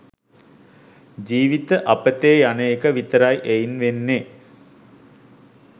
ජීවිත අපතේ යන එක විතරයි එයින් වෙන්නේ.